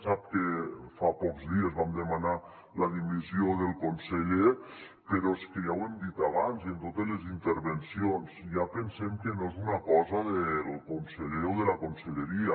sap que fa pocs dies vam demanar la dimissió del conseller però és que ja ho hem dit abans i en totes les intervencions ja pensem que no és una cosa del conseller o de la conselleria